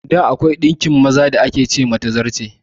Da, akwai ɗinkin maza da ake ce ma "Tazarce".